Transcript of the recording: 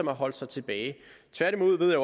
har holdt sig tilbage tværtimod ved jeg